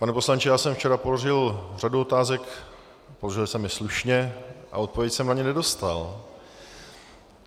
Pane poslanče, já jsem včera položil řadu otázek, položil jsem je slušně a odpověď jsem na ně nedostal.